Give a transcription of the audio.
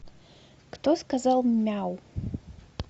кто сказал мяу